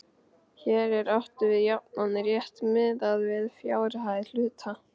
Hér er átt við jafnan rétt miðað við fjárhæð hluta.